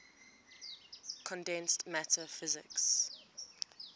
condensed matter physics